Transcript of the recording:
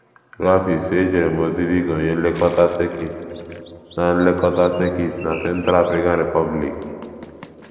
Ruo afọ ise, ejere m ozi dị ka onye nlekọta sekit na nlekọta sekit na Central African Republic.